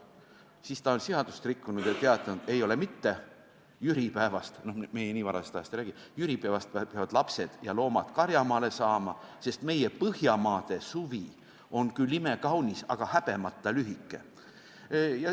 Siis ta oli seadust rikkunud ja teatanud: ei ole mitte, jüripäevast – noh, meie nii varajasest ajast ei räägi – peavad lapsed ja loomad karjamaale saama, sest meie põhjamaa suvi on küll imekaunis, aga häbemata lühike.